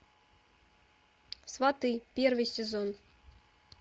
сваты первый сезон